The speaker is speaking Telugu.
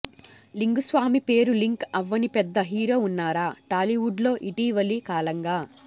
లింగుస్వామి పేరు లింక్ అవ్వని పెద్ద హీరో వున్నారా టాలీవుడ్ లో ఇటీవలి కాలంగా